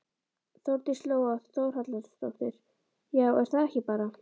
Þórdís Lóa Þórhallsdóttir: Já er það ekki bara?